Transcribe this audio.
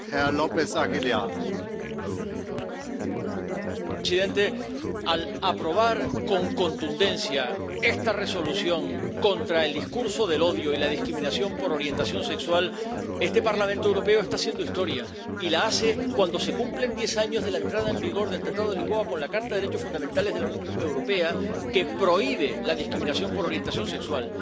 Señor presidente, al aprobar con contundencia esta Resolución contra el discurso de odio y la discriminación por orientación sexual, este Parlamento Europeo está haciendo historia, y la hace cuando se cumplen diez años de la entrada en vigor del Tratado de Lisboa con la Carta de los Derechos Fundamentales de la Unión Europea, que prohíbe la discriminación por orientación sexual.